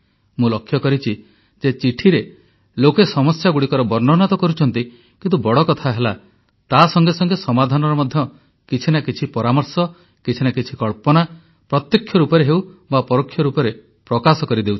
ମୁଁ ଲକ୍ଷ୍ୟ କରିଛି ଯେ ଚିଠିରେ ଲୋକେ ସମସ୍ୟାଗୁଡ଼ିକର ବର୍ଣ୍ଣନା ତ କରୁଛନ୍ତି କିନ୍ତୁ ବଡ କଥା ହେଲା ତାସଙ୍ଗେ ସଙ୍ଗେ ସମାଧାନର ମଧ୍ୟ କିଛି ନା କିଛି ପରାମର୍ଶ କିଛି ନା କିଛି କଳ୍ପନା ପ୍ରତ୍ୟକ୍ଷ ରୂପରେ ହେଉ ବା ପରୋକ୍ଷ ରୂପରେ ପ୍ରକାଶ କରିଦେଉଛନ୍ତି